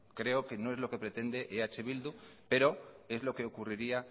creo que no es lo que pretende eh bildu pero es lo que ocurriría